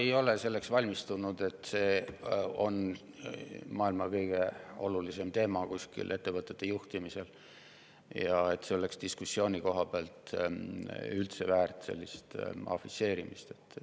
Ei, ma ei ole selleks valmistunud, et see on maailma kõige olulisem teema ettevõtete juhtimise juures ja et see oleks diskussiooni käigus üldse väärt sellist afišeerimist.